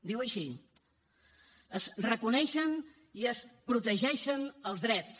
diu així es reconeixen i es protegeixen els drets